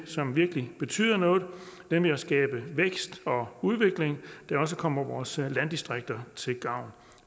som virkelig betyder noget nemlig at skabe vækst og udvikling der også kommer vores landdistrikter til gavn